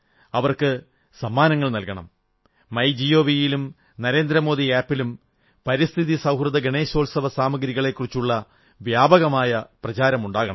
അവർക്ക് സമ്മാനം നല്കണം മൈ ജിഓവി യിലും നരേന്ദ്രമോദി ആപ് ലും പരിസ്ഥിതി സൌഹൃദ ഗണേശോത്സവസാമഗ്രികളെക്കുറിച്ചുള്ള വ്യാപകമായ പ്രചാരമുണ്ടാകണം